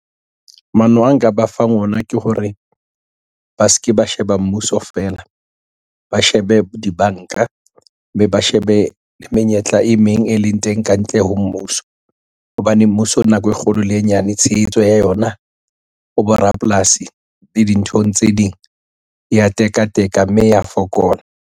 Maano a nka ba fang ona ke hore ba seke ba sheba mmuso fela, ba shebe dibanka, be ba shebe menyetla e meng e leng teng e kantle ho mmuso. Hobane mmuso nako e kgolo le e nyane, tshehetso ya yona ho borapolasi le dinthong tse ding e ya tekateka, mme e ya fokola.